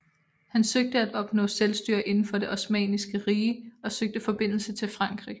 Han søgte at opnå selvstyre inden for det osmanniske rige og søgte forbindelse til Frankrig